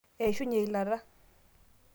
eishunye eilata